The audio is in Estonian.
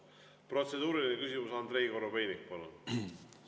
Protseduuriline küsimus, Andrei Korobeinik, palun!